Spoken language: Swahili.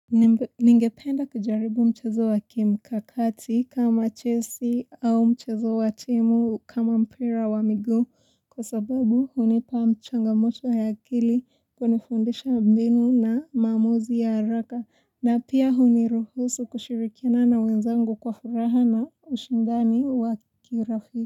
Ningependa kujaribu mchezo wa kimkakati kama chelsea au mchezo wa timu kama mpira wa miguu kwa sababu hunipa mchangamoto ya akili kunifundisha mbinu na maamuzi ya haraka na pia huniruhusu kushirikiana na wenzangu kwa furaha na ushindani wa kirafiki.